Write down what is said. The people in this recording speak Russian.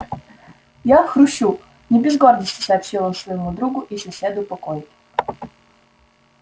я хрущу не без гордости сообщил он своему другу и соседу по койке